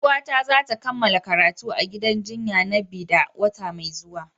Yar uwata za ta kammala karatu a gidan jinya na Bida wata mai zuwa.